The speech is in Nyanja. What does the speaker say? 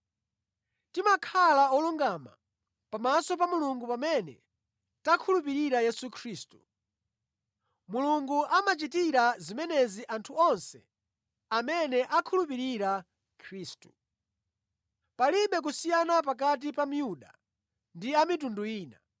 Timakhala olungama pamaso pa Mulungu pamene takhulupirira Yesu Khristu. Mulungu amachitira zimenezi anthu onse amene akhulupirira Khristu. Palibe kusiyana pakati pa Myuda ndi a mitundu ina,